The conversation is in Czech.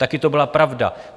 Také to byla pravda.